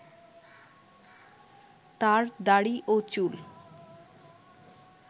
তার দাড়ি ও চুল